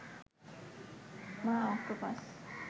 মা অক্টোপাস